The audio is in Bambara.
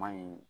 Maɲi